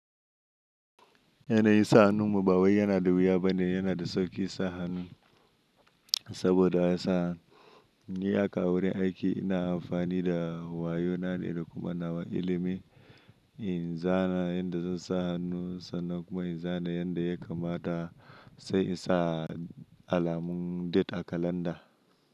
Yana yi sa hannu muba wai yana da wuya bane, yana da sauƙi sa hannu saboda ya san ni a ka wurin aiki ina amfani da wayo na ne da kuma nawa ilimi in zana yadda zan sa hannu sannan kuma in zana yadda ya kamata sai in sa alamun date a kalanda.